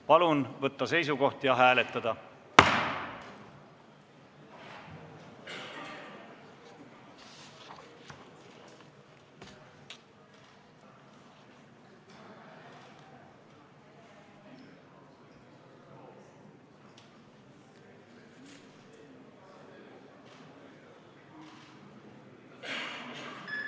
Palun võtta seisukoht ja hääletada!